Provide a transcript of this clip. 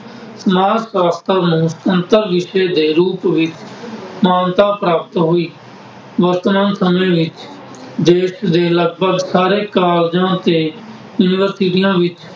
ਸਮਾਜ ਸਾਸ਼ਤਰ ਨੂੰ ਸਮਤਲ ਵਿਸ਼ੇ ਦੇ ਰੂਪ ਵਿੱਚ ਮਾਨਤਾ ਪ੍ਰਾਪਤ ਹੋਈ। ਵਤਨ ਵਿੱਚ ਦੇਸ਼ ਦੇ ਲਗਬਗ ਸਾਰੇ ਕਾਲਜਾਂ ਤੇ ਯੂਨੀਵਰਸਿਟੀਆਂ ਵਿੱਚ